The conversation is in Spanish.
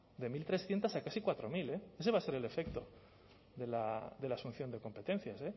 de mil trescientos a casi cuatro mil eh ese va a ser el efecto de la asunción de competencias